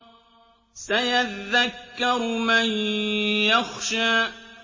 سَيَذَّكَّرُ مَن يَخْشَىٰ